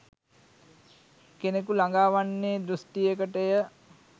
කෙනෙකු ලඟා වන්නේ දෘෂ්ටියකටය.